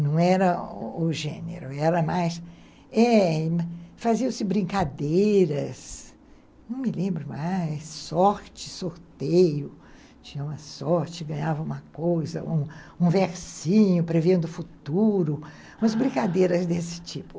Não era o gênero, era mais eh... faziam-se brincadeiras, não me lembro mais, sorte, sorteio, tinha uma sorte, ganhava uma coisa, um um versinho prevendo o futuro, umas brincadeiras desse tipo.